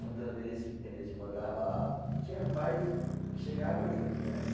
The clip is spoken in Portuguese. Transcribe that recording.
Muitas vezes eles mandava, tinha pais que chegava junto mesmo.